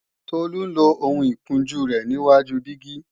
Tolu ń lo ohun ìkunjú rẹ níwáju dígí